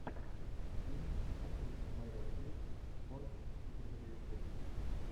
фильм с актрисой мэрил стрип гордость и предубеждение